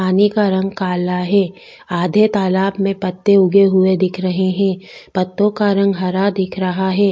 पानी का रंग काला है आधे तालाब में पत्ते उगे हुए दिख रहे है पत्तो का रंग हरा दिख रहा है।